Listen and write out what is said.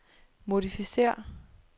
modificér